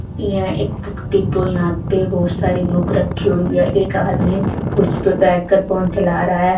इहां एक व्यक्ति को यहां पे बहुत सारी बुक रखी हुई है एक आदमी कुर्सी पर बैठकर फोन चला रहा है।